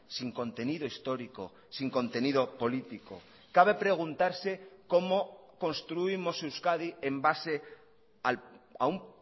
sin contenido histórico sin contenido político cabe preguntarse cómo construimos euskadi en base a un